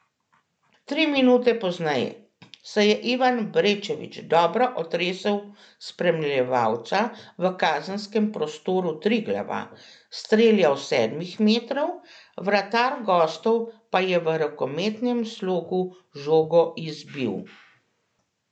Tri minute pozneje se je Ivan Brečević dobro otresel spremljevalca v kazenskem prostoru Triglava, streljal s sedmih metrov, vratar gostov pa je v rokometnem slogu žogo izbil.